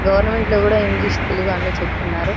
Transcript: government లో కూడా English Telugu అని చెప్తున్నారు --